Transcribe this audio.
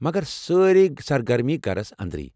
مگر سٲرے سرگرمی گھرَس اندریہ ۔